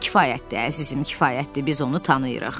Kifayətdir əzizim, kifayətdir, biz onu tanıyırıq.